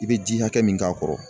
I bɛ ji hakɛ min k'a kɔrɔ